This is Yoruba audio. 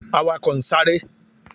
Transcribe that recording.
Awakọ n sare.